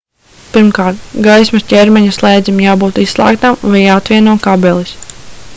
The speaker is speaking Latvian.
pirmkārt gaismas ķermeņa slēdzim jābūt izslēgtam vai jāatvieno kabelis